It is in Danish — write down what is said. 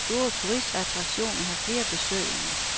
De store turistattraktioner har flere besøgende.